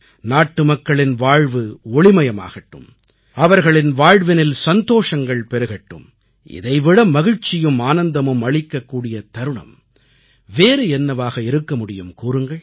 நாட்டுமக்களின் வாழ்வு ஒளிமயமாகட்டும் அவர்களின் வாழ்வினில் சந்தோஷங்கள் பெருகட்டும் இதைவிட மகிழ்ச்சியும் ஆனந்தமும் அளிக்கக்கூடிய தருணம் வேறு என்னவாக இருக்க முடியும் கூறுங்கள்